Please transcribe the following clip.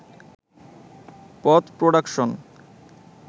পথ প্রডাকশন।